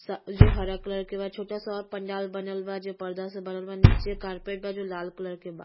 सा जो हरा कलर के बा छोटा सा और पंडाल बनल बा जो पर्दा से बनल बा। नीचे कार्पेट बा जो लाल कलर के बा।